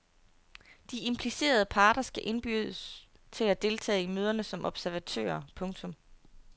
De implicerede parter skal indbydes til at deltage i møderne som observatører. punktum